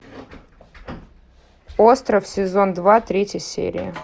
остров сезон два третья серия